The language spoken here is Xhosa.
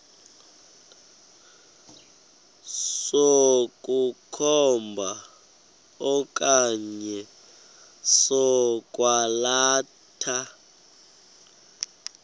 sokukhomba okanye sokwalatha